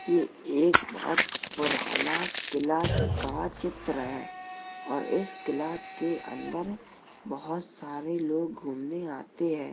ये एक बोहोत पुराना किला का चित्र है और इस किला के अंदर बोहोत सारे लोग घूमने आते हैं।